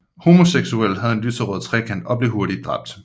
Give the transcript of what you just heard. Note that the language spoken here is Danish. Homoseksuelle havde en lyserød trekant og blev hurtigt dræbt